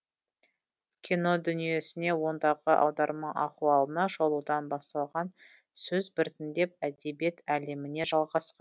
кино дүниесіне ондағы аударма ахуалына шолудан басталған сөз біртіндеп әдебиет әлеміне жалғасқан